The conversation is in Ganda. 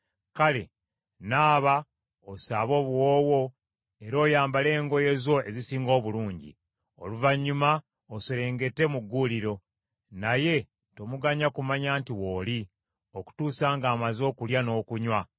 Kale naaba osaabe obuwoowo, era oyambale engoye zo ezisinga obulungi. Oluvannyuma oserengete mu gguuliro ; naye tomuganya kumanya nti wooli, okutuusa ng’amaze okulya n’okunywa.